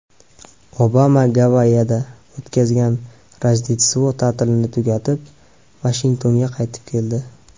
Obama Gavayida o‘tkazgan Rojdestvo ta’tilini tugatib, Vashingtonga qaytib keldi.